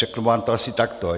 Řeknu vám to asi takto.